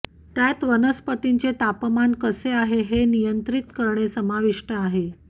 त्यात वनस्पतींचे तापमान कसे आहे हे नियंत्रित करणे समाविष्ट आहे